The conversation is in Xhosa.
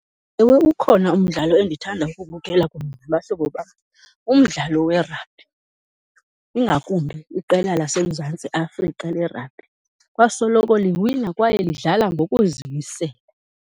Ewe ukhona umdlalo endithanda ukuwubukela kunye nabahlobo bam, umdlalo werabhi, ingakumbi iqela laseMzantsi Afrika lerabhi. Kwasoloko liwina kwaye lidlala ngokuzimisela.